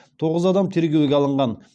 тоғыз адам тергеуге алынған